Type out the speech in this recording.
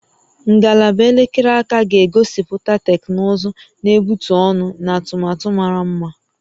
Ngalaba elekere aka ga-egosipụta teknụzụ na-egbutu ọnụ na atụmatụ mara mma